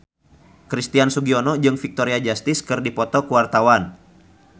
Christian Sugiono jeung Victoria Justice keur dipoto ku wartawan